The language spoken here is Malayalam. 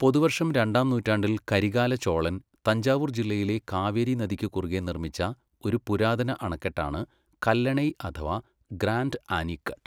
പൊതുവർഷം രണ്ടാം നൂറ്റാണ്ടിൽ കരികാല ചോളൻ തഞ്ചാവൂർ ജില്ലയിലെ കാവേരി നദിക്കു കുറുകേ നിർമ്മിച്ച ഒരു പുരാതന അണക്കെട്ടാണ് കല്ലണൈ അഥവാ ഗ്രാൻഡ് ആനിക്കട്ട്.